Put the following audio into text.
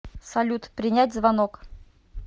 салют принять звонок